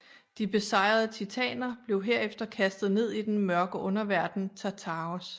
De besejrede titaner blev herefter kastet ned i den mørke underverden Tartaros